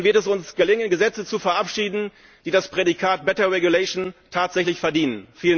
Dann wird es uns gelingen, Gesetze zu verabschieden, die das Prädikat better regulation tatsächlich verdienen.